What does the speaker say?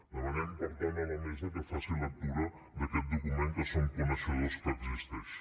demanem per tant a la mesa que faci lectura d’aquest document que som coneixedors que existeix